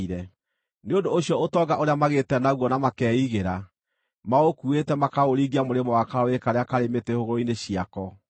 Nĩ ũndũ ũcio ũtonga ũrĩa magĩte naguo na makeigĩra, maũkuuĩte makaũringia mũrĩmo wa karũũĩ karĩa karĩ mĩtĩ hũgũrũrũ-inĩ ciako.